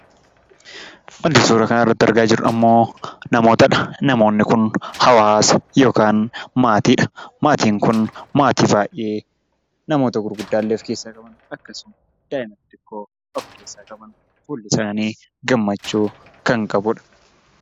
Kan suura kana irratti argaa jirru kun ammoo namootadha. Namoonni kun hawaasa yookaan maatiidha. Maatiin kun maatii baay'ee namoota guguddaa illee of keessaa qaban, akkasuma daa'ima xiqqoo of keessaa qabaniidha. Fuulli isaanii gammachuu kan qabudha.